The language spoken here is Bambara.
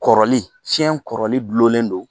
Kɔrɔli cɛn kɔrɔli gulonlen don